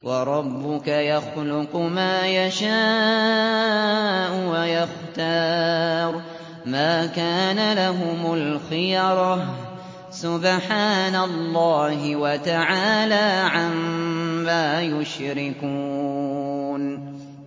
وَرَبُّكَ يَخْلُقُ مَا يَشَاءُ وَيَخْتَارُ ۗ مَا كَانَ لَهُمُ الْخِيَرَةُ ۚ سُبْحَانَ اللَّهِ وَتَعَالَىٰ عَمَّا يُشْرِكُونَ